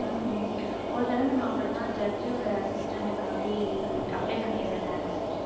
உம் ஒரு தடவை நான் அப்படித்தான் judge ஓட assistant காண்டி apply பண்ணிருந்தேன்